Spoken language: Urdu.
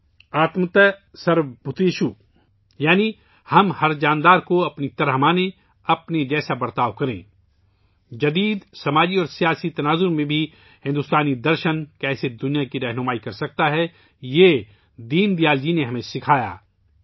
' आत्मवत् सर्वभूतेषु' آتم وَت سرو بھوتیشو یعنی ہم ہر نفس کو اپنی طرح سمجھیں ، اپنے جیسا سلوک کریں ، جدید معاشرتی اور سیاسی تناظر میں بھی بھارتی درشن ، کس طرح دنیا کی رہنمائی کر سکتا ہے ، یہ دین دیال جی نے ہمیں سکھایا